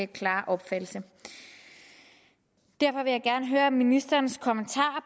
klare opfattelse derfor vil jeg gerne høre ministerens kommentar